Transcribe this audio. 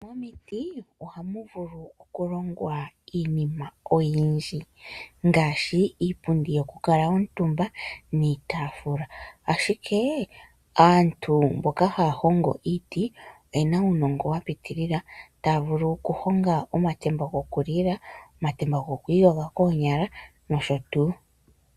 Momiti ohamu vulu okulongwa iinima oyindji; ngaashi iipundi yokukala omutumba niitaafula. Ashike aantu mboka haya hongo iiti oye na uunongo wa piitilila, taya vulu okuhonga omatemba gokulila, omatemba goku iyogela koonyala nosho tuu.